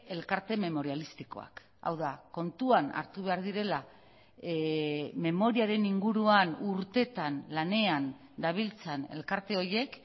elkarte memorialistikoak hau da kontuan hartu behar direla memoriaren inguruan urteetan lanean dabiltzan elkarte horiek